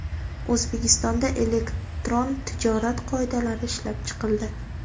O‘zbekistonda Elektron tijorat qoidalari ishlab chiqildi .